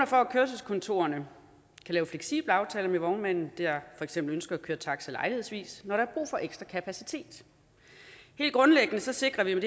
for at kørselskontorerne kan lave fleksible aftaler med vognmanden der eksempel ønsker at køre taxi lejlighedsvis når der er brug for ekstra kapacitet helt grundlæggende sikrer vi